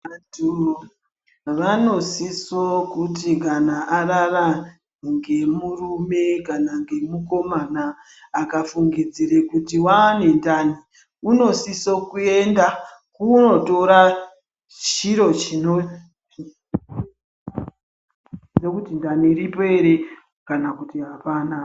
Vantu vanosise kuti kana arara ngemurume kana ngemukomana akafungidzire kuti waangendani, unosise kuenda kunotora chiro chinobhuya kuti ndani iripo ere kana kuti apana.